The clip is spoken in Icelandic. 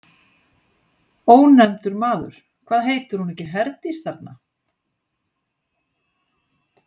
Ónefndur maður: Hvað heitir hún ekki Herdís, þarna?